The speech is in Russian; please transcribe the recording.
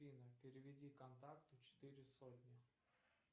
афина переведи контакту четыре сотни